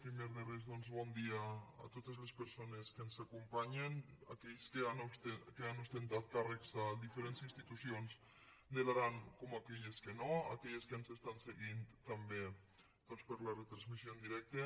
primer de res doncs bon dia a totes les persones que ens acompanyen tant aquelles que han ostentat càrrecs de diferents institucions de l’aran com aquelles que no aquelles que ens estan seguint també doncs per la retransmissió en directe